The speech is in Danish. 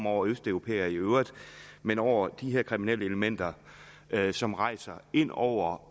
over østeuropæere i øvrigt men over de her kriminelle elementer som rejser ind over